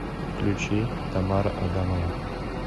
включи тамара адамова